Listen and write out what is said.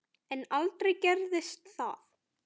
En aldrei gerist það.